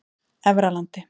Efralandi